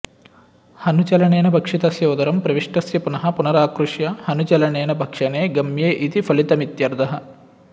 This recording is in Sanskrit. हनुचलनेन भक्षितस्य उदरं प्रविष्टस्य पुनः पुनराकृष्य हनुचलनेन भक्षणे गम्ये इति फलितमित्यर्थः